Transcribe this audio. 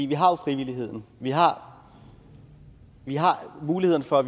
vi har jo frivilligheden vi har har muligheden for at